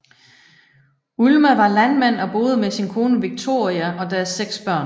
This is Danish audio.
Ulma var landmand og boede med sin kone Wiktoria og deres seks børn